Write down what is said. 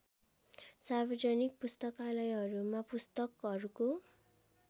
सार्वजनिक पुस्तकालयहरूमा पुस्तकहरुको